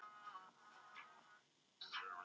Við lögðum saman krafta okkar.